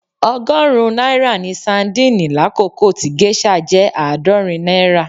Ọgọ́rùn-ún náírà ni sadíìnì lákòókò tí géṣà jẹ́ àádọ́rin náírà.